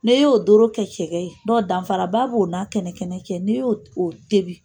N'e y'o doro kɛ kɛ cɛkɛ ye dɔn danfaraba bo o n'a kɛnɛkɛnɛ cɛ n'i yo o tebi.